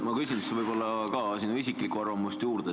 Ma küsiks ka sinu isiklikku arvamust.